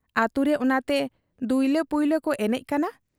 ᱟᱹᱛᱩᱨᱮ ᱚᱱᱟᱛᱮ ᱫᱩᱭᱞᱟᱹ ᱯᱟᱭᱞᱟ ᱠᱚ ᱮᱱᱮᱡ ᱠᱟᱱᱟ ᱾'